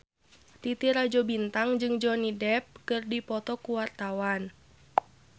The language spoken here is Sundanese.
Titi Rajo Bintang jeung Johnny Depp keur dipoto ku wartawan